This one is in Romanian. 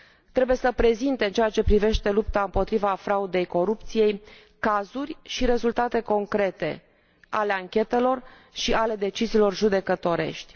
trebuie să prezinte, în ceea ce privește lupta împotriva fraudei și corupției, cazuri și rezultate concrete ale anchetelor și ale deciziilor judecătorești.